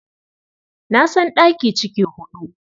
Na san ɗaki ciki huɗu.